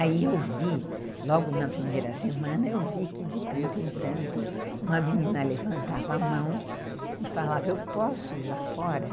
Aí eu vi, logo na primeira semana, eu vi que de tanto em tanto uma menina levantava a mão e falava, eu posso ir lá fora?